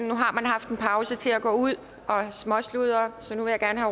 nu har man haft en pause til at gå ud og småsludre så jeg vil gerne